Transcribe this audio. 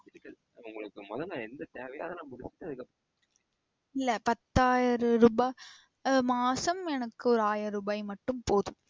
உங்களுக்கு மொத நா என்ன தேவையோ அத முடிச்சிட்டு அதுக்கு அப்புறம் நா இல்ல பத்தாயிரம் ரூபா மாசம் எனக்கு ஒரு ஆயிரம் ரூபா மட்டும் போதும்.